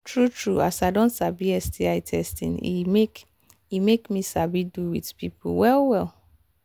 true true as i don sabi sti testing e make e make me sabi do with people well well